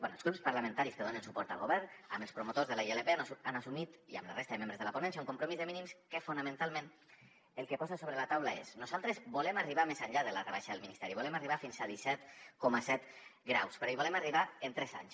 bé els grups parlamentaris que donen suport al govern amb els promotors de la ilp han assumit i amb la resta de membres de la ponència un compromís de mínims que fonamentalment el que posa sobre la taula és nosaltres volem arribar més enllà de la rebaixa del ministeri volem arribar fins a disset coma set euros però hi volem arribar en tres anys